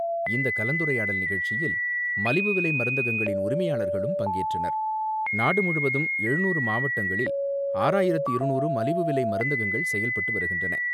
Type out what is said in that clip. இந்த கலந்துரையாடல் நிகழ்ச்சியில் மலிவுவிலை மருந்துகளின் உரிமையாளர்களும் பங்கேற்றனர். நாடுமுழுவதும் எழுநூறு மாவட்டங்களில் ஆறாயிரத்து இருநூறு மலிவு விலைமருந்தகங்கள் செயல்பட்டுவருகின்றன.